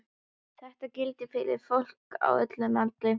Þetta gildir fyrir fólk á öllum aldri.